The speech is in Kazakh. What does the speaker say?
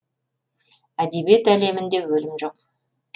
әдебиет әлемінде өлім жоқ